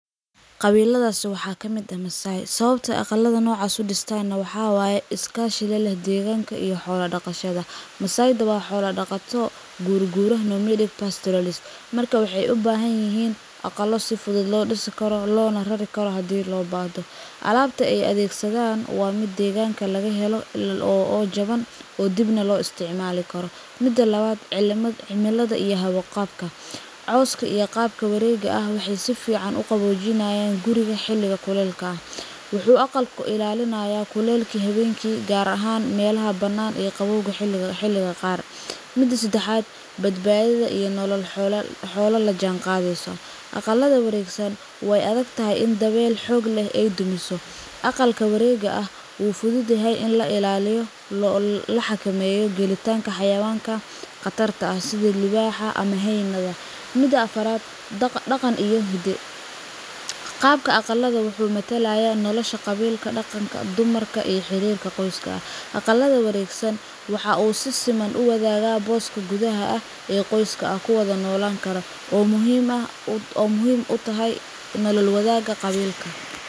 Qabiladasi waxa kamid ah Masaai. Sawabta eey aqalada noocaas u dhistan waxa waye iskashiga leh deganka iyo xoolo dhaqashada. Masaai waa xoolo dhaqato, gurguro (nomadic pastoralist), marka waxay u baahan yihiin aqalo si fudud loo dhisi karo, loona rari karo hadii loo baahdo. Alaabta eey adegsan waa mid deegaanka laga helo, oo jaban, oo dibna loo isticmaali karo. Mid labaad: cimilada iyo hawada. Qadka cawska iyo kabka wareega waxay si fiican u qaboojiyaan guriga xilliga kuleylka. Wuxuu aqalka ka ilaalinayaa kuleylka xilliga habeenkii, gaar ahaan meelaha bannaan ee qabowga xilliga qaboobaha. Midda saddexaad: badbaadada iyo nolol la jaanqaadka. Aqalka wareega way adag tahay iney dabayluhu dumiso. Aqalka wareega wuu fudud yahay in laga ilaaliyo khatarta inuu soo galo xayawaanka sida libaaxa ama hey’ada. Midda afaraad: dhaqanka iyo gudaha aqalka. Wuxuu matalayaa nolosha qabiilka, dumarka, iyo xiriirka qoyska. Aqalada wareegsan waxa si siman u wadaaga booska gudaha ee qoyska, kuwaas oo wada noolaan karo. Waa muhiim u tahay nolol wadaagga qabiilka.